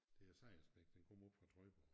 Det er Sejersbæk den kommer oppe fra Trøjborg